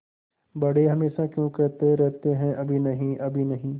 बड़े हमेशा क्यों कहते रहते हैं अभी नहीं अभी नहीं